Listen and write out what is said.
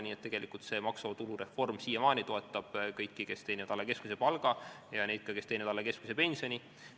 Nii et tegelikult see maksuvaba tulu reform siiamaani toetab kõiki, kes teenivad alla keskmise palga, ja ka neid, kes teenivad alla keskmise pensioni.